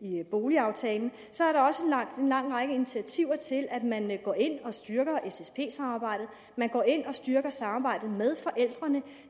i boligaftalen så er der også en lang række initiativer man går ind og styrker ssp samarbejdet man går ind og styrker samarbejdet med forældrene